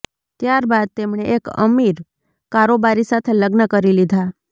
ત્યારબાદ એમણે એક અમિર કારોબારી સાથે લગ્ન કરી લીધા